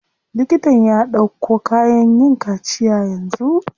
Liktan ya ɗauko kayan yin kaciya yanzu.